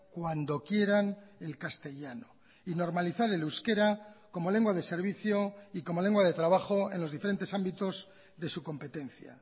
cuando quieran el castellano y normalizar el euskera como lengua de servicio y como lengua de trabajo en los diferentes ámbitos de su competencia